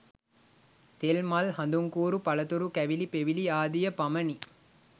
තෙල්, මල් හඳුන්කූරු පළතුරු කැවිලි පෙවිලි ආදිය පමණි.